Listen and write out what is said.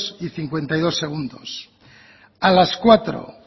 y cincuenta y dos segundos a las cuatro